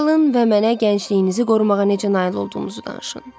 Çalın və mənə gəncliyinizi qorumağa necə nail olduğunuzu danışın.